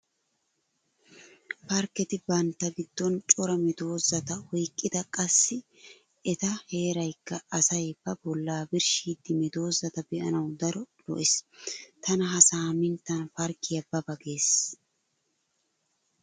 Parkketi bantta giddon cora meedosata oyqqida qassi eta heeraykka asay ba bollaa birshshiiddi medoosata be'anawu daro lo'ees. Tana ha saaminttan parkkiya ba ba gees.